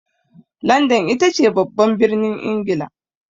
Landan ita ce babban birnin Ingila.